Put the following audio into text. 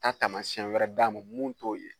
Taa taamasiyɛn wɛrɛ d'a ma mun t'o ye